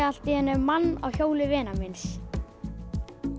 allt í einu mann á hjóli vinar míns